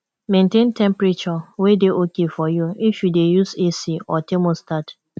maintain temperature wey dey okay for you if you dey use ac or thermostat